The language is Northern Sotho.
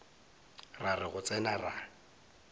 ra re go tsena ra